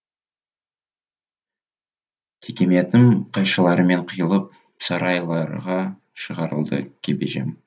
текеметім қайшылармен қиылып сарайларға шығарылды кебежем